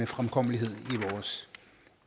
fremkommelighed